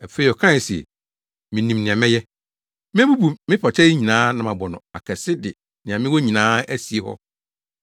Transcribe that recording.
“Afei ɔkae se, ‘Minim nea mɛyɛ. Mebubu me pata yi nyinaa na mabɔ no akɛse de nea mewɔ nyinaa asie hɔ.